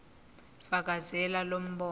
fakazela lo mbono